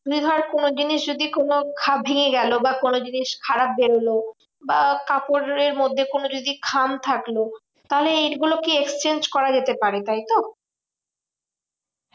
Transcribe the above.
মানে ধর কোনোজিনিস যদি ভেঙে গেলো বা কোনো জিনিস খারাপ বেরোলো বা কাপড়ের মধ্যে কোনো যদি খাম থাকলো, তাহলে এ গুলো কি exchange করা যেতে পারে, তাইতো?